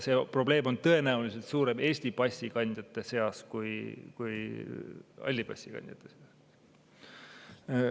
See probleem on Eesti passi omanike puhul tõenäoliselt suurem kui halli passi omanike puhul.